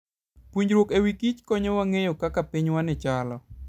Puonjruok e wi kich konyowa ng'eyo kaka pinywani chalo.